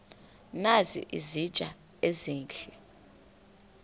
nazi izitya ezihle